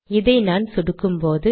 இதை நான் சொடுக்கும்போது